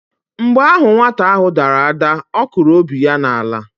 Mgbe ahụ nwata ahụ dara ada, ọ kụrụ obi ya n'ala.